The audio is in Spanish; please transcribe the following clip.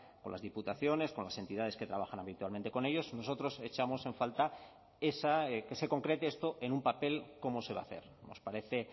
con las diputaciones con las entidades que trabajan habitualmente con ellos nosotros echamos en falta que se concrete esto en un papel cómo se va a hacer nos parece